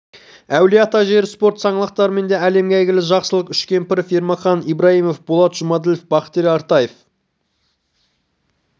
әулие ата жері спорт саңылақтарымен де әлемге әйгілі жақсылық үшкемпіров ермахан ибраимов болат жұмаділов бақтияр артаев